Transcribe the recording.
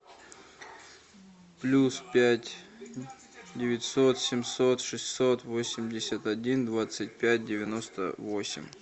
плюс пять девятьсот семьсот шестьсот восемьдесят один двадцать пять девяносто восемь